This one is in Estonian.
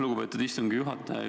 Lugupeetud istungi juhataja!